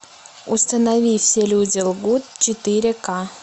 установи все люди лгут четыре ка